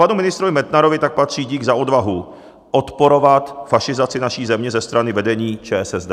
Panu ministrovi Metnarovi tak patří dík za odvahu odporovat fašizaci naší země ze strany vedení ČSSD.